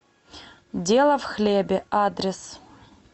дело в хлебе адрес